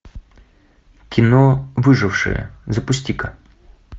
кино выжившие запусти ка